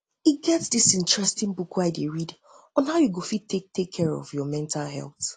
e get get dis interesting book wey i dey read on how you go fit take care of your mental health